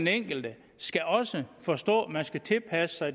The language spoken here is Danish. enkelte skal også forstå at man skal tilpasse sig